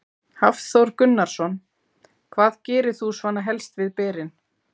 Hafþór Gunnarsson: Hvað gerir þú svona helst við berin?